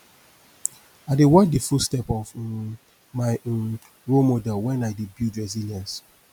i dey watch di footstep of um my um role model when i dey build resilience